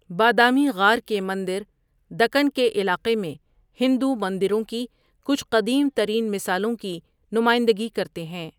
بادامی غار کے مندر دکن کے علاقے میں ہندو مندروں کی کچھ قدیم ترین مثالوں کی نمائندگی کرتے ہیں۔